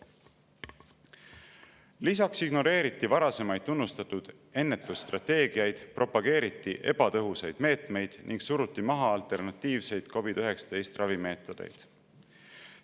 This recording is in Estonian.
Lisaks ignoreeriti varasemaid tunnustatud ennetusstrateegiaid, propageeriti ebatõhusaid meetmeid ning suruti maha alternatiivseid COVID‑19 ravimeetodeid.